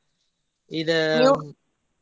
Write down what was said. ಇದ .